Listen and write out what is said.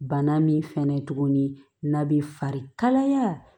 Bana min fɛnɛ tuguni n'a bi fari kalaya